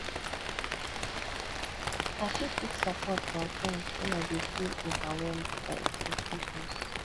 i fit seek support from friends when i dey feel overwhelmed by expectations